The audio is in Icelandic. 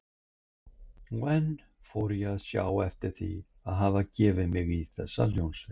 Og enn fór ég að sjá eftir að hafa gefið mig í þessa hljómsveit.